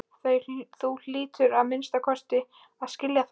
Þú hlýtur að minnsta kosti að skilja það.